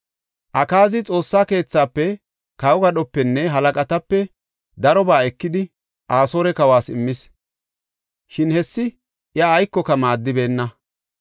Akaazi Xoossa keethafe, kawo gadhopenne halaqatape darobaa ekidi, Asoore kawas immis. Shin hessi iya aykoka maaddibeenna.